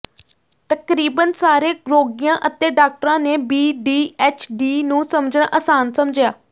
ਤਕਰੀਬਨ ਸਾਰੇ ਰੋਗੀਆਂ ਅਤੇ ਡਾਕਟਰਾਂ ਨੇ ਬੀ ਡੀ ਐਚ ਡੀ ਨੂੰ ਸਮਝਣਾ ਆਸਾਨ ਸਮਝਿਆ